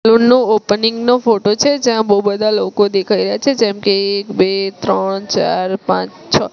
Opening નો photo છે જ્યાં બો બધા લોકો દેખાય રહ્યા છે જેમકે એક-બ- ત્રણ-ચાર-પાંચ-છો.